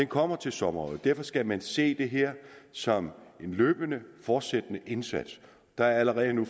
kommer til sommer derfor skal man se det her som en løbende fortsat indsats der er allerede nu